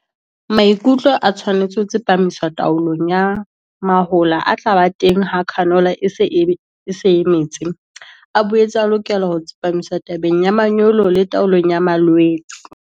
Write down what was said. Maikutlo a tshwanetse ho tsepamiswa taolong ya mahola a tla ba teng ha canola e se e metse. A boetse a lokela ho tsepamiswa tabeng ya manyolo le taolong ya malwetse.